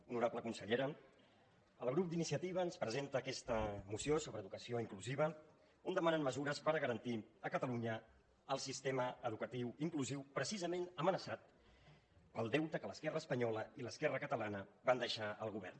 honorable consellera el grup d’iniciativa ens presenta aquesta moció sobre educació inclusiva on demanen mesures per a garantir a catalunya el sistema educatiu inclusiu precisament amenaçat pel deute que l’esquerra espanyola i l’esquerra catalana van deixar al govern